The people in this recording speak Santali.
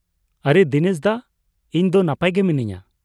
ᱟᱨᱮ ᱫᱤᱱᱮᱥ ᱫᱚ ! ᱤᱧ ᱫᱚ ᱱᱟᱯᱟᱭ ᱜᱮ ᱢᱤᱱᱟᱹᱧᱟᱹ ᱾